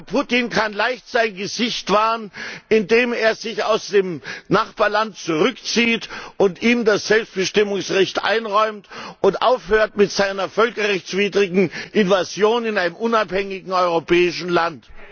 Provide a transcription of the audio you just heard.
Herr Putin kann leicht sein Gesicht wahren, indem er sich aus dem Nachbarland zurückzieht und ihm das Selbstbestimmungsrecht einräumt und aufhört mit seiner völkerrechtswidrigen Invasion in einem unabhängigen europäischen Land!